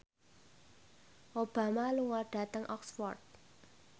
Obama lunga dhateng Oxford